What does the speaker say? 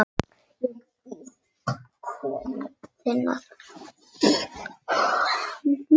Ég bíð komu þinnar.